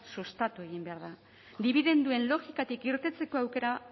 sustatu egin behar da dibidenduen logikatik irteteko aukera